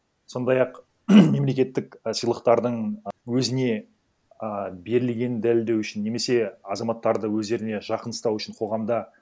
сондай ақ мемлекеттік і сыйлықтардың өзіне ы берілгенін дәлелдеу үшін немесе азаматтарды өздеріне жақын ұстау үшін қоғамда